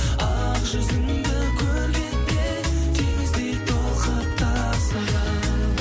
ақ жүзіңді көргенде теңіздей толқып тасыдым